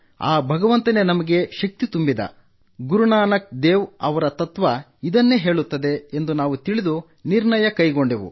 ಆ ಭಗವಂತನೇ ನಮಗೆ ಶಕ್ತಿ ತುಂಬಿದ ಗುರುನಾನಕ ದೇವ್ ಅವರ ತತ್ವ ಇದನ್ನೇ ಹೇಳುತ್ತದೆ ಎಂದು ತಿಳಿದು ನಾವು ನಿರ್ಣಯ ಕೈಗೊಂಡೆವು